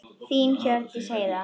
Þín Hjördís Heiða.